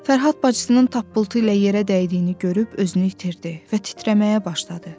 Fərhad bacısının tappıltı ilə yerə dəydiyini görüb özünü itirdi və titrəməyə başladı.